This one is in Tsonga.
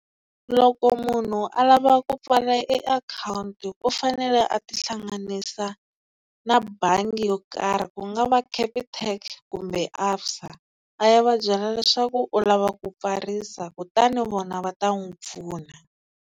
Loko munhu a lava ku pfala e akhawunti u fanele a ti hlanganisa na bangi yo karhi ku nga va Capitec kumbe ABSA a ya va byela leswaku u lava ku pfarisa kutani vona va ta n'wi pfuna.